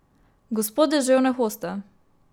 Gospod Deževne hoste.